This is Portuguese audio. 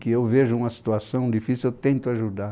Que eu vejo uma situação difícil, eu tento ajudar.